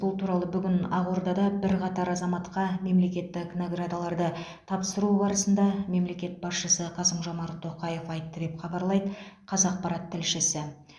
бұл туралы бүгін ақордада бірқатар азаматқа мемлекеттік наградаларды тапсыру барысында мемлекет басшысы қасым жомарт тоқаев айтты деп хабарлайды қазақпарат тілшісі